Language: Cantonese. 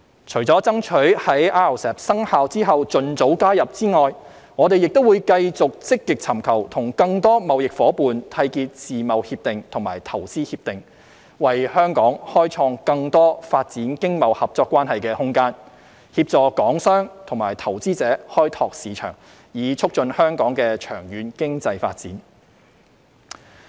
除了爭取在 RCEP 生效後盡早加入外，我們會繼續積極尋求與更多貿易夥伴締結自貿協定及投資協定，為香港開創更多發展經貿合作關係的空間，協助港商及投資者開拓市場，以促進香港的長遠經濟發展。